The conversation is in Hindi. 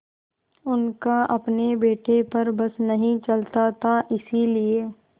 उनका अपने बेटे पर बस नहीं चलता था इसीलिए